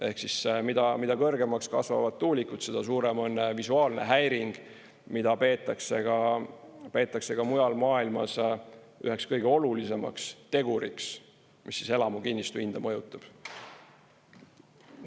Ehk siis mida kõrgemaks kasvavad tuulikud, seda suurem on visuaalne häiring, mida peetakse ka mujal maailmas üheks kõige olulisemaks teguriks, mis elamukinnistu hinda mõjutab.